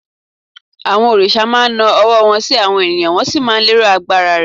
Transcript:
àwọn òrìṣà ma na ọwọ́ wan sí àwọn ènìyàn, wọn sì má lero agbara rẹ